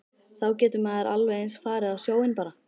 Þá getur maður alveg eins farið á sjóinn bara.